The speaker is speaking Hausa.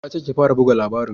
Na ce ki fara buga labarin!